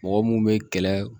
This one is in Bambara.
Mɔgɔ mun bɛ kɛlɛ